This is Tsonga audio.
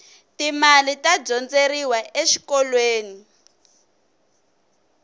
ti mali ta dyondzeriwa exikolweni